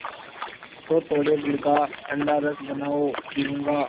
तो थोड़े गुड़ का ठंडा रस बनाओ पीऊँगा